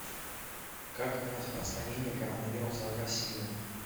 как распространение коронавируса в россии